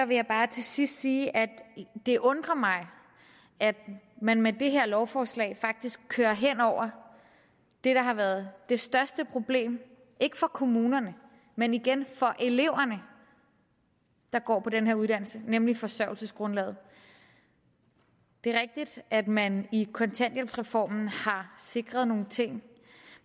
vil jeg bare til sidst sige at det undrer mig at man med det her lovforslag faktisk kører hen over det der har været det største problem ikke for kommunerne men igen for eleverne der går på den her uddannelse nemlig forsørgelsesgrundlaget det er rigtigt at man i kontanthjælpsreformen har sikret nogle ting